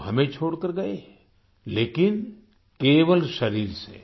वो हमें छोड़कर गए लेकिन केवल शरीर से